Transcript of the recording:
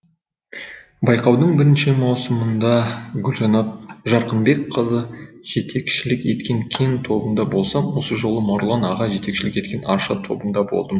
байқаудың бірінші маусымында гүлжанар жарқынбекқызы жетекшілік еткен кен тобында болсам осы жолы марғұлан аға жетекшілік еткен арша тобында болдым